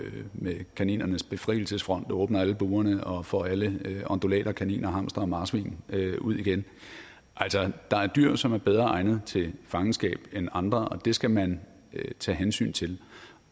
med kaninernes befrielsesfront og åbner alle burene og får alle undulater og kaniner og hamstere og marsvin ud igen altså der er dyr som er bedre egnet til fangenskab end andre og det skal man tage hensyn til